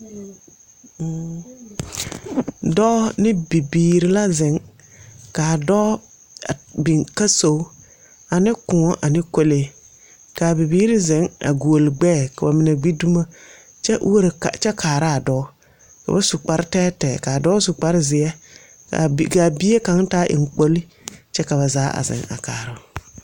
Dɔɔ ne bibiir la zeŋ. Kaa dɔɔ biŋ kasogu ane Kõɔ ane kolee. Kaa bibiri zeŋ a guoli gbɛɛ, ka ba mine gbi dumo kyɛ uoro ka kyɛ kaaraa dɔɔ. Koo su kparre tɛɛtɛɛ, kaa dɔɔ su kparzeɛ kaa bi kaa bie kaŋ taa eŋkpoli, kyɛ ka ba zaa a zeŋ a kaaroo.